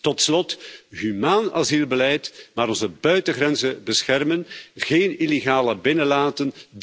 Tot slot, humaan asielbeleid, maar wel onze buitengrenzen beschermen en geen illegalen binnenlaten.